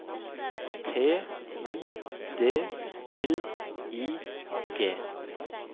T I D L I G